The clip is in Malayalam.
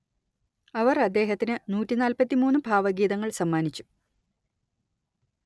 അവർ അദ്ദേഹത്തിന് നൂറ്റി നാല്പത്തി മൂന്ന് ഭാവഗീതങ്ങൾ സമ്മാനിച്ചു